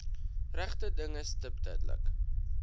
regte dinge stiptelik